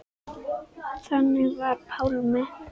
Þannig var Pálmi.